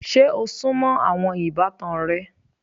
Ṣe o súnmọ́ àwọn ìbátan rẹ?